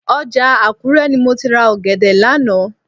Ọjà Àkúrẹ́ ni mo ti ra ọ̀gẹ̀dẹ̀ lánàá